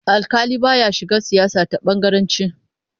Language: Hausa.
Alƙali ba ya shiga siyasa ta bangaranci.